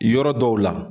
Yɔrɔ dɔw la